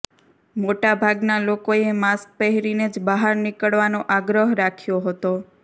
મોટાભાગના લોકોએ માસ્ક પહેરીને જ બહાર નીકળવાનો આગ્રહ રાખ્યો હતો